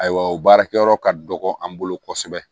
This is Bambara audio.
Ayiwa o baarakɛyɔrɔ ka dɔgɔ an bolo kosɛbɛ